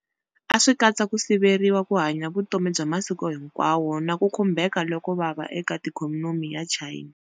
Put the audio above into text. A swi katsa ku siveriwa ku hanya vutomi bya masiku hinkwawo na ku khumbheka loko vava eka ikhonomi ya China.